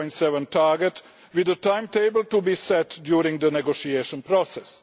the 0.7 target, with the timetable to be set during the negotiation process.